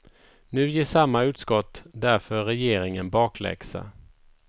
Nu ger samma utskott därför regeringen bakläxa.